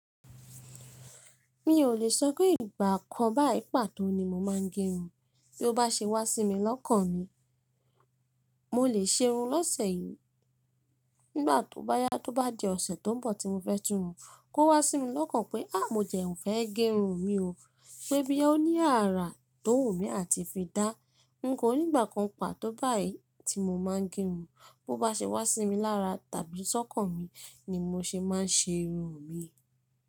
Mi ò le sọ pé ìgbà kan bayii pà tó ni mo máa ń gerun, bí ó bá ṣe wá sí mi lọ́kàn mi, mo lè ṣe irun lọ́sẹ̀ yìí, nígbà tóbá yá tóbá di ọ̀sẹ̀ tó n bọ̀ tí mo fẹ́ tun run, kó wá sí mi lọ́kàn pé à mo jẹ fẹ́ ẹ gerun mi ò, pé boya oní àrà tó wù mí à ti fi dá, nǹkọ́ ní ìgbà kan pà tó báyìí tí mo máa ń gerun, bó bá ṣe wá sí mi lára tàbí sọ́kàn mi ni mo ṣe máa ń ṣe irun mi.